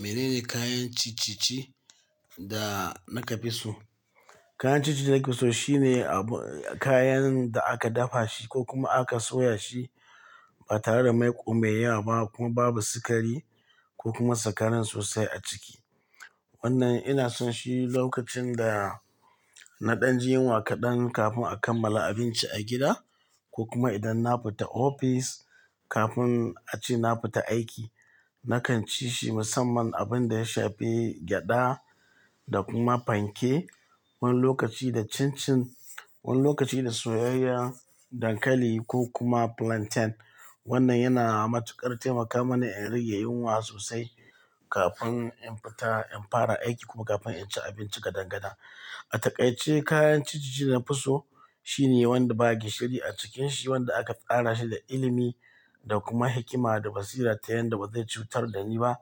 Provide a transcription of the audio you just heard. Menene kayan ciccice da naka fi so? Kayan ciccice da nafi so shine abu kayan da aka dafa shi ko kuma aka soya shi ba tare da mai ko maiya ba kuma babu sukari ko kuma sakarin sosai a ciki. Wannan ina son shi lokacin da na ɗan jin yunwa kaɗan kafin a kammala abinci a gida ko kuma idan na fita ofis kafin a ce na fita aiki. Nakan ci shi musamman abin da ya shafe gyaɗa da kuma panke, wani lokaci da cin cin, wani lokaci da soyayyen dankali ko kuma plantain. Wannan yana matuƙar taimaka mani in rage yunwa sosai kafin in fita in fara aiki ku kafin in ci abinci gadangada. A takaice kayan ciccice da na fi so shine wanda ba gishiri a cikin shi, wanda aka tsara shi da ilimi da kuma hikima da basira ta yanda ba zai cutar da ni ba